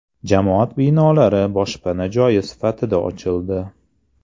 Jamoat binolari boshpana joyi sifatida ochildi.